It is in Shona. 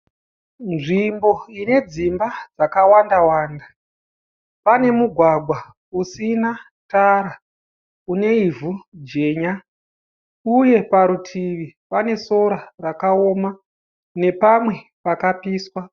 Nzvimbo ine dzimba dzakawanda wanda pane mugwagwa usina tara une ivhu jenya uye pane sora nepamwe pakapiswa.